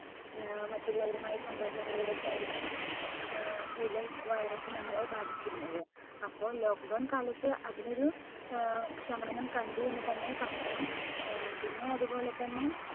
അഹ് മറ്റുള്ളവരുമായി സമ്പർക്കത്തിലൂടെ ഒക്കെ ആയിരുന്നു ഏർ കൂടുതൽ virus നമ്മളെ ബാധിച്ചിരുന്നത്. അപ്പൊ lockdown കാലത്ത് അതിനൊരു ഏർ ക്ഷമനം കണ്ടു എന്ന് തന്നെ പറയാം. ഏർ പിന്നെ അത് പോലെത്തന്നെ